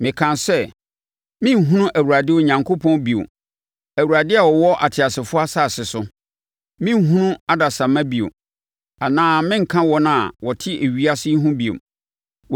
Mekaa sɛ, “Merenhunu Awurade Onyankopɔn bio Awurade a ɔwɔ ateasefoɔ asase so. Merenhunu adasamma bio, anaa merenka wɔn a wɔte ewiase yi ho bio.